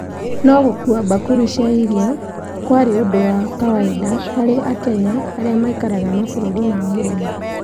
No gũkua bakũri cia irio cia kwarĩ ũndũ wa kawainda harĩ a Kenya arĩa maaikaraga mabũrũri-inĩ ma mũrimo.